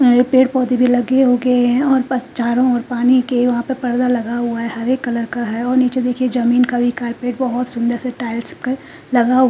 पेड़ पौधे भी लगे उगे हैं और चारों ओर पानी के वहां पे पर्दा लगा हुआ है हरे कलर का है और नीचे देखिए जमीन का भी कारपेट बहुत सुंदर से टाइल्स के लगा--